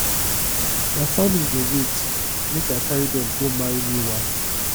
my family dey wait make i carry dem go marry new wife